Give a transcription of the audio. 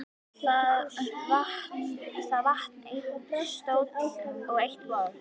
Það vantar einn stól og eitt borð.